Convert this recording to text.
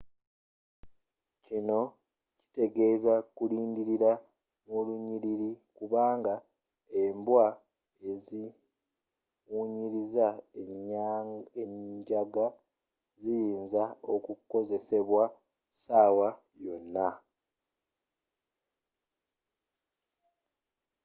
kino kitegezza kulindila mu lunyilili kubanga embwa eziwunyiliza enjaga ziyinza okukozesebwa sawa yona